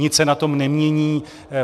Nic se na tom nemění.